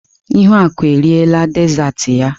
Ihuaku eriela dezaatị ya.